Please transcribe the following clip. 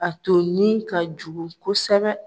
A tolini ka jugu kosɛbɛ.